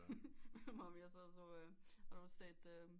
Minder mig om jeg sad og så øh har du set øh